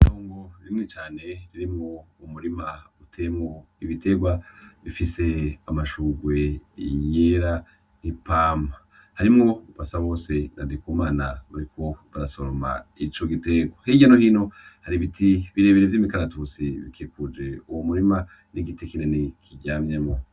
Itongo rinini cane ririmwo umurima uteyemwo ibiterwa , bifise amashurwe yera n'ipampa. Harimwo Basabose na Ndikumana bariko barasoroma ico giterwa. Hirya no hino har'ibiti birebire vy'umukaratusi bikikuje uwo murima, n'igiti kinini kiryamyemwo.